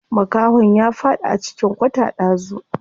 Makahon ya faɗi a cikin kwata ɗazu.